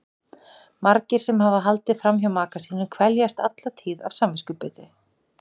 Margir sem hafa haldið fram hjá maka sínum kveljast alla tíð af samviskubiti.